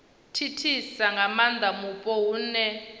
thithisa nga maanda mupo hune